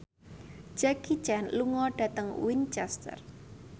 Jackie Chan lunga dhateng Winchester